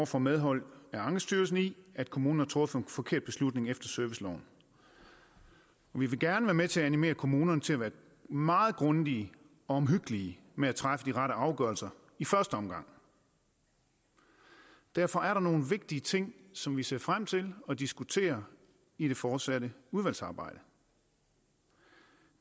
får medhold af ankestyrelsen i at kommunen har truffet en forkert beslutning efter serviceloven vi vil gerne være med til at animere kommunerne til at være meget grundige og omhyggelige med at træffe de rette afgørelser i første omgang derfor er der nogle vigtige ting som vi ser frem til at diskutere i det fortsatte udvalgsarbejde